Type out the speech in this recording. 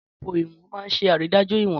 Téèpù ìwọ̀n máa ń ṣe àrídájú ìwọ̀n